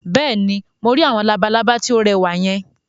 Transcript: Bẹ́ẹ̀ni, mo rí àwọn labalábá tí ó rẹwà yẹn